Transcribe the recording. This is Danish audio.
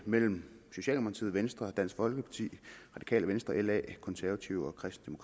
mellem socialdemokratiet venstre dansk folkeparti radikale venstre la konservative